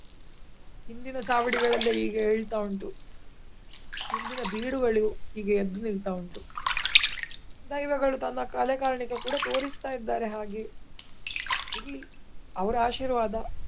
ಹಿಂದಿನ ಚಾವಡಿಗಳೆಲ್ಲಾ ಈಗ ಎಳ್ತಾ ಉಂಟು. ಹಿಂದಿನ ಬೀಡುಗಳು ಈಗ ಎದ್ದು ನಿಲ್ತ ಉಂಟು. ದೈವಗಳು ತನ್ನ ಕಲೆ ಕಾರ್ಣಿಕ ಕೂಡ ತೋರಿಸ್ತ ಇದ್ದಾರೆ ಹಾಗೆ. ಇರ್ಲಿ ಅವರ ಆಶೀರ್ವಾದ.